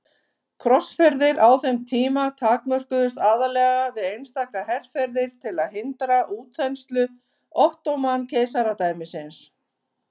Krossferðir á þeim tíma takmörkuðust aðallega við einstaka herferðir til að hindra útþenslu Ottóman-keisaradæmisins.